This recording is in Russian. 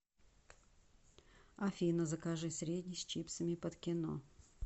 афина закажи средний с чипсами под кино